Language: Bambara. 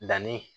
Na ni